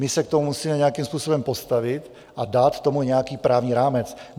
My se k tomu musíme nějakým způsobem postavit a dát tomu nějaký právní rámec.